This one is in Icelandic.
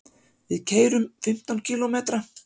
Við keyrum fimmtán kílómetra.